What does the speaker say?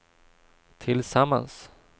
tillsammans